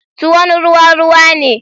Tuwon ruwa ruwa ne.